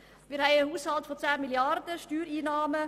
Wir haben einen Haushalt von 10 Mrd. Franken Steuereinnahmen.